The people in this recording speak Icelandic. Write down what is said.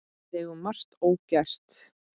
Við eigum margt ógert.